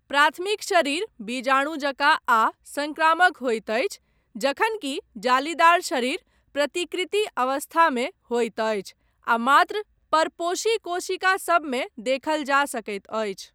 प्राथमिक शरीर बीजाणु जकाँ आ संक्रामक होइत अछि जखनकि जालीदार शरीर प्रतिकृति अवस्थामे होइत अछि आ मात्र परपोषी कोशिका सभमे देखल जा सकैत अछि।